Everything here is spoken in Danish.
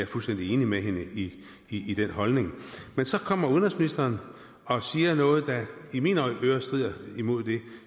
fuldstændig enig med hende i i den holdning men så kommer udenrigsministeren og siger noget der i mine ører strider mod det